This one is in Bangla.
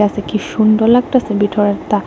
সে কি সুন্দর লাগতাসে ভিতরেরটা।